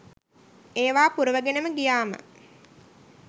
ඒවා පුරවගෙනම ගියාම